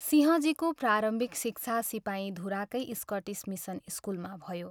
सिंहजीको प्रारम्भिक शिक्षा सिपाहीधुराकै स्कटिस मिसन स्कुलमा भयो।